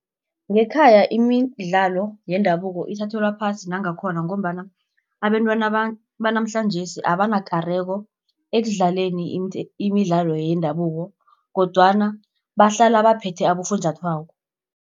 Ngekhaya imidlalo yendabuko ithathelwa phasi nangakhona, ngombana abentwana banamhlanjesi abanakareko ekudlaleni imidlalo yendabuko, kodwana bahlala baphethe abofunjathwako.